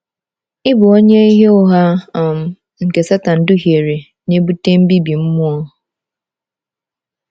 Ịbụ onye ìhè ụgha um nke Setan duhiere na-ebute mbibi mmụọ.